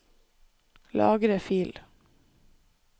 Lagre fil